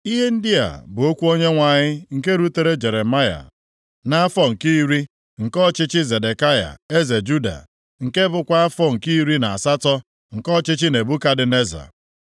Ihe ndị a bụ okwu Onyenwe anyị nke rutere Jeremaya nʼafọ nke iri nke ọchịchị Zedekaya eze Juda, nke bụkwa afọ nke iri na asatọ nke ọchịchị Nebukadneza.